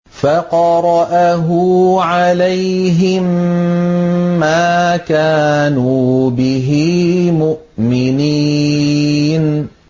فَقَرَأَهُ عَلَيْهِم مَّا كَانُوا بِهِ مُؤْمِنِينَ